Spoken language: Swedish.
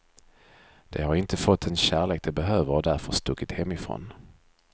De har inte fått den kärlek de behöver och därför stuckit hemifrån.